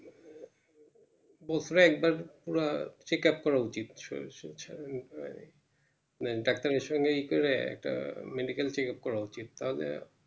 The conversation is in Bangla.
বছরে একবার করে Check up করা উচিত না Doctor এর সঙ্গে ই করে একটা Medical check up করা উচিত তাহলে